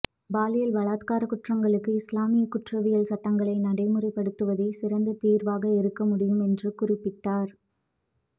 பாலியல் பலாத்கார குற்றங்களுக்கு இஸ்லாமிய குற்றவியல் சட்டங்களை நடைமுறை படுத்துவதே சிறந்த தீர்வாக இருக்க முடியும் என்று குறிப்பிட்டார்